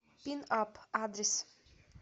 пинап адрес